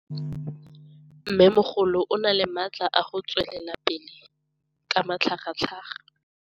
Mmêmogolo o na le matla a go tswelela pele ka matlhagatlhaga.